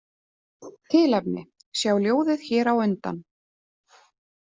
Tilefni: Sjá ljóðið hér á undan.